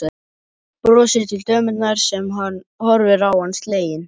Brosir til dömunnar sem horfir á hann slegin.